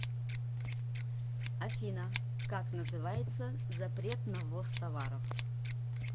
афина как называется запрет на ввоз товаров